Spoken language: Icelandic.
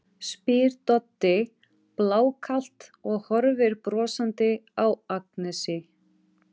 spyr Doddi blákalt og horfir brosandi á Agnesi.